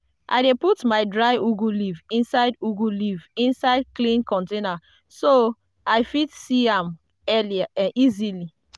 i dey put my dried ugu leaf inside ugu leaf inside clear container so i fit see am easily.